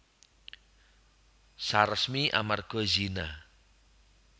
Saresmi amarga zina